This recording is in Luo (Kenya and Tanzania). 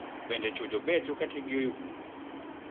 Bende chuo jobecho ka tikgi oyugno?